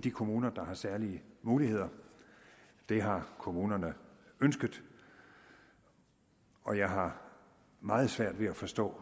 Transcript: de kommuner der har særlige muligheder det har kommunerne ønsket og jeg har meget svært ved at forstå